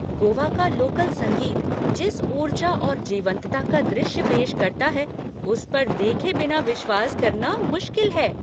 गोवा का लोकल संगीत जिस ऊर्जा और जीवंतता का दृश्य पेश करता है उस पर देखे बिना विश्वास करना मुश्किल है।